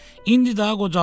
İndi də qocalmışam.